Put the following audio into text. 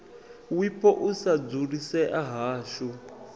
wipo u sa dzulisea hashu